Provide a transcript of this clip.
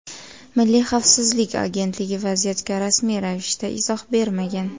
Milliy xavfsizlik agentligi vaziyatga rasmiy ravishda izoh bermagan.